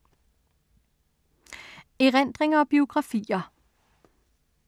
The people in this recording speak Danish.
Erindringer og biografier